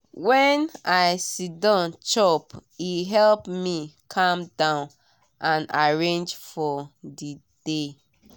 when i siddon chop e help me calm down and arrange for the day.